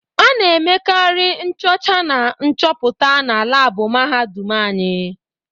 Ana emekari nchocha na nchọpụta na laabụ mahadum anyị.